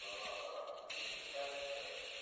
то надо не писать